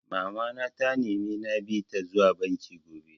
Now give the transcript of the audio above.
Mama na ta nemi na bi ta zuwa banki gobe